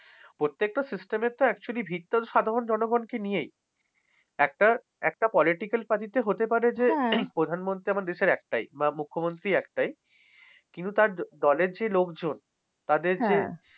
প্রত্যেকটা system actually ভীতটা সাধারণ জনগণকে নিয়েই। একটা একটা political party তে হতে পারে যে, প্রধানমন্ত্রীর আমার দেশের একটাই, মুখ্যমন্ত্রী একটাই। কিন্তু তার দলের যে লোকজন তাদের যে,